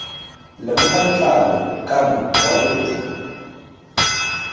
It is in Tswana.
lemoga letlalo kana boalo jwa